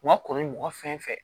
U ka kɔrɔ ni mɔgɔ fɛn fɛ